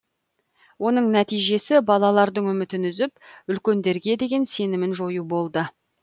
оның нәтижесі балалардың үмітін үзіп үлкендерге деген сенімін жою болды